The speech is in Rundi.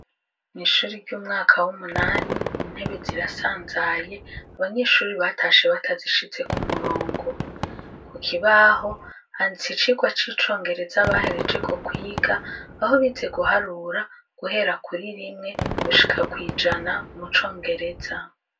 mwishuri ry'umwaka w'umunani intebe zirasanzaye abanyeshuri batashe batazishize ku murongo ku kibaho handitse icigwa c'icongereza bahereje ko kwiga aho bize guharura guhera kuri rimwe gushika kwijana mu congereza